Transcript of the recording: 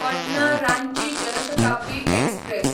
Patna Ranchi Jan Shatabdi express